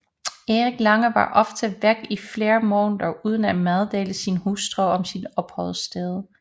Erik Lange var ofte væk i flere måneder uden at meddele sin hustru om sit opholdssted